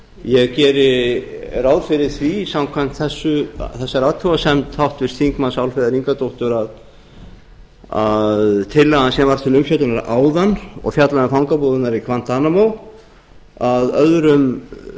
ég geri ráð fyrir því samkvæmt þessari athugasemd háttvirtur þingmaður álfheiðar ingadóttur að tillagan sem var til umfjöllunar áðan og fjallaði um fangabúðirnar í guantanamo að öðrum